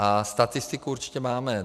A statistiku určitě máme.